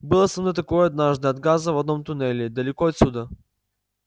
было со мной такое однажды от газа в одном туннеле далеко отсюда